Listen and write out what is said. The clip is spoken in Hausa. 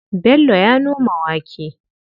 Bello ya noma wake.